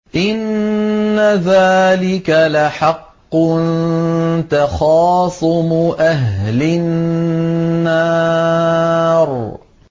إِنَّ ذَٰلِكَ لَحَقٌّ تَخَاصُمُ أَهْلِ النَّارِ